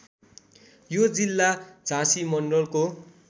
यो जिल्ला झाँसी मण्डलको